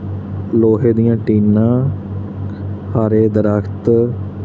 ਲੋਹੇ ਦੀਆਂ ਟੀਨਾਂ ਹਰੇ ਦਰਖਤ--